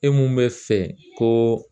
E mun bɛ fɛ ko